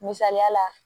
Misaliya la